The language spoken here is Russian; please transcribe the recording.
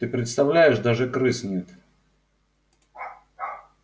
ты представляешь даже крыс нет